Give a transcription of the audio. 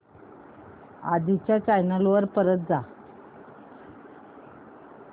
आधी च्या चॅनल वर परत जा